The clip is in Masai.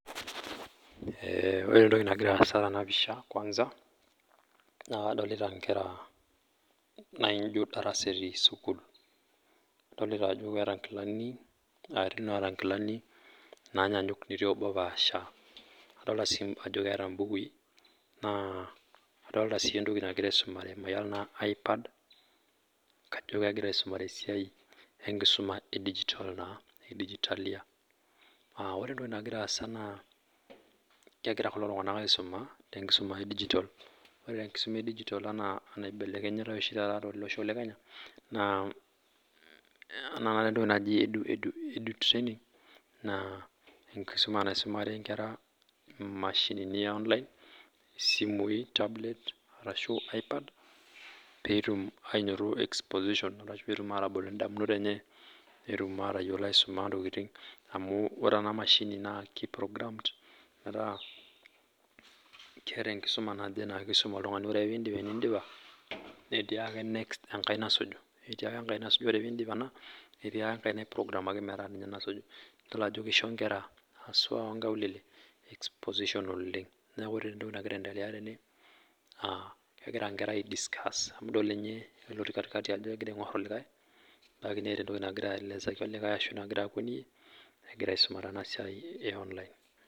Ore entoki nagira aasa tena pisha kwanza naa kadolita ngera naijo darasa etii sukuul adolita ajo keeta inkilani etii naata inkilani naanyanyuk netii obo opaasha, adolita sii ajo keeta im'bukui naa adolita sii entoki nagira aisumare mayiolo anaa iPad kajo kegira aisomare esiai enkisuma edigitalia aa ore entoki nagiara aasa naa kegira kulo tung'anak aisuma enkisuma edigital ore enkisuma edigital enaa anaibelekenyitai oshi taata tolosho le Kenya naa entoki naji edu training naa enkisuma naisumare ngera imashinini e online ,isimui, tablet, iPad peetum ainoto exposition arashu peetum atabol indamunot enche metayiolo aisuma ntokiting' amu ore ena mashini naa kiprogrammed keeta enkisuma naisum oltung'ani ore ake piin'dip etii ake engae nasuju etii ake engae nasuju ore piin'dip ena etii ake engae naiprogramaki peesuju idol ajo keisho ngera aswa oo ngaulele exposition oleng' neaku ore entoki nagira aendelea tene naa kegira ngera aidiscuss idol ninye ele otii katikati ajo kegia aingur entoki nagira aelezaki olikae nagira aisoma tena siai e online